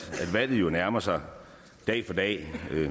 valget nærmer sig dag for dag